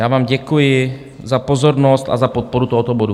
Já vám děkuji za pozornost a za podporu tohoto bodu.